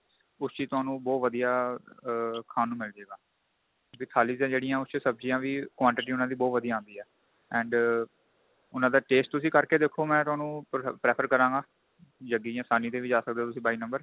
ਉਸ ਚ ਹੀ ਤੁਹਾਨੂੰ ਬਹੁਤ ਵਧੀਆ ਆ ਖਾਂ ਨੂੰ ਮਿਲ ਜੇ ਗਾ ਵੀ ਥਾਲੀ ਏ ਜਿਹੜੀਆ ਉਸ ਚ ਸਭਜੀਆਂ ਵੀ quantity ਉਹਨਾ ਦੀ ਬਹੁਤ ਵਧੀਆ ਆਂਦੀ ਏ and ਉਹਨਾ ਦਾ taste ਤੁਸੀਂ ਕਰਕੇ ਦੇਖੋ ਮੈਂ ਤੁਹਾਨੂੰ prefer ਕਰਾਗਾ jaggi ਜਾਂ sahni ਤੇ ਵੀ ਜਾ ਸਕਦੇ ਤੁਸੀਂ ਬਾਈ number